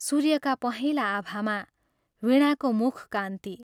सूर्यका पहेंला आभामा वीणाको मुखकान्ति।